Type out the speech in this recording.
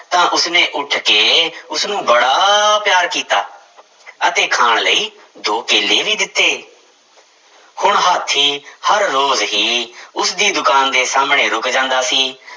ਤਾਂ ਉਸਨੇ ਉੱਠ ਕੇ ਉਸਨੂੰ ਬੜਾ ਪਿਆਰ ਕੀਤਾ ਅਤੇ ਖਾਣ ਲਈ ਦੋ ਕੇਲੇ ਵੀ ਦਿੱਤੇ ਹੁਣ ਹਾਥੀ ਹਰ ਰੋਜ਼ ਹੀ ਉਸਦੀ ਦੁਕਾਨ ਦੇ ਸਾਹਮਣੇ ਰੁੱਕ ਜਾਂਦਾ ਸੀ